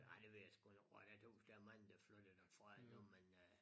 Nej det ved jeg sgu ikke om jeg tøs der er mange der mange der flyttede derfra endnu men øh